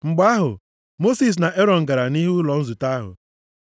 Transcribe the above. Mgbe ahụ, Mosis na Erọn gara nʼihu ụlọ nzute ahụ.